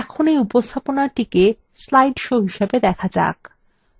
এখন এই উপস্থাপনাটিকে slide show হিসাবে দেখা যাক